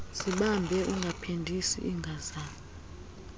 zibambe ungaphindisi ingazala